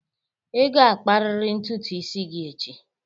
Ị ga-akpariri ntutu isi gị echi!